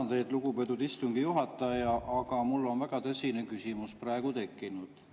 Ma tänan teid, lugupeetud istungi juhataja, aga mul on väga tõsine küsimus praegu tekkinud.